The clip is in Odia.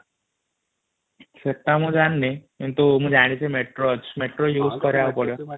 ସେଟ ମୁ ଜାଣିନୀ କିନ୍ତୁ ମୁ ଜନଚି ମେଟ୍ରୋ ଅଛି ମେଟ୍ରୋ ଇଉଜ କରିବାକୁ ପଡିବ |